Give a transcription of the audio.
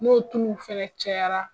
N'o tuluw fɛnɛ cayara